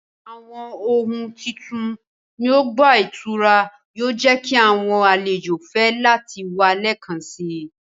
Awọn ohun titun ni ọgba-ìturá yoo jẹ ki awọn alejo fẹ lati wa lẹẹkansi